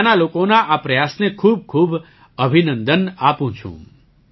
હું ત્યાંના લોકોના આ પ્રયાસને ખૂબખૂબ અભિનંદન આપું છું